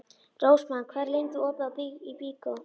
Rósmann, hvað er lengi opið í Byko?